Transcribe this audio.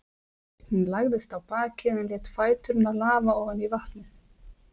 Hún lagðist á bakið en lét fæturna lafa ofan í vatnið.